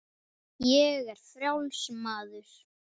Ég er frjáls maður!